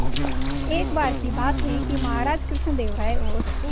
एक बार की बात है कि महाराज कृष्णदेव राय और